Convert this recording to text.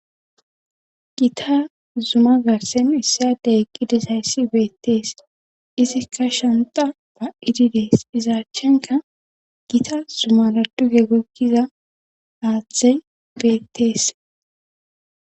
Gita zuma garsen issyadey eqqidisayssi beettees isikka shanta ba7idi dees izaachenka gita zuma laduge gokkiza aaththey beettees.